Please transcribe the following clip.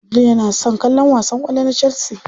Abdul yana son kallon wasan kwallo na chelsea.